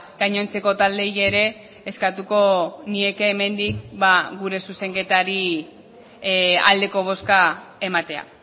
gainontzeko taldeei ere eskatuko nieke hemendik gure zuzenketari aldeko bozka ematea